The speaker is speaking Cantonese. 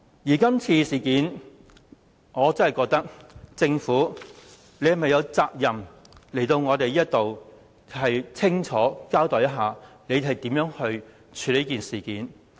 就今次事件，我真的覺得政府有責任前來立法會清楚交代如何處理這事件。